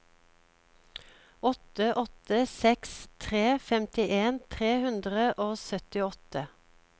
åtte åtte seks tre femtien tre hundre og syttiåtte